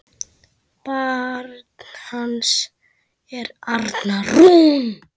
Barn hans er Arna Rún.